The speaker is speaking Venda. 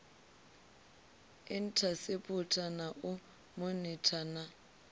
inthaseputha na u monitha na